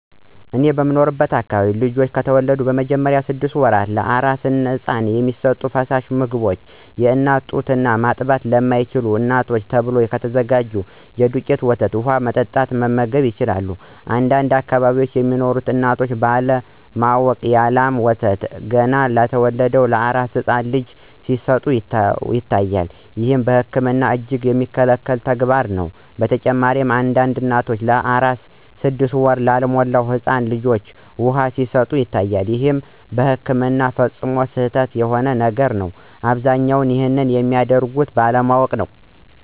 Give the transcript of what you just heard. እኔ በምኖርበት አከባቢ ልጆች በተወለዱ በመጀመሪያዎቹ ስድሰት ወራት ለአራስ ህፃን የሚሰጡ ፈሳሽ ምግቦች የአናት ጡት እና ማጥባት ለማይችሉ እናቶች ተብሎ ከተዘጋጀ የዱቄት ወተት በውሃ በመበጥበጥ መመገብ ይችላሉ። አንዳንድ አከባቢ ሚኖሩ እናቶች ባለ ማወቅ የ ላም ወተት ገና ለተወለደ አራስ ህፃን ልጅ ሲሰጡ ይስተዋላል። ይህም በህክምና እጅግ የሚከለከል ተግባርም ነው። በተጨማሪም አንዳንድ እናቶች ለአራስ ስድስት ወር ላልሞላው ህፃን ልጃቸው ውሃ ሲሰጡ ይታያል ይህም በህክምና ፈፅሞ ስህተት የሆነ ነገር ነው። አብዛኞቹም ይንንም የሚያደርጉት ባለማወቅ ነው።